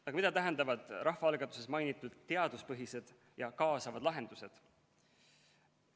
Mida aga tähendavad rahvaalgatuses mainitud teaduspõhised ja kaasavad lahendused?